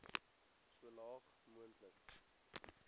so laag moontlik